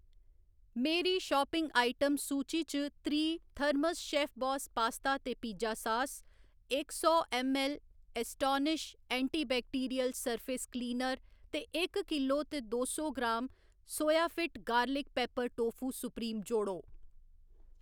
मेरी shopping item सूची च त्रीह्‌ थर्मस शेफबास पास्ता ते पिज्जा सास, इक सौ ml Astonish antibacterial surface cleaner ते इक किलो ते दो सौ gram Soyafit garlic pepper tofu supreme जोड़ो